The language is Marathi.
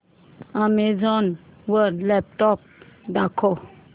अॅमेझॉन वर लॅपटॉप्स दाखव